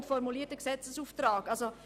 Und es wird ein Gesetzesauftrag formuliert.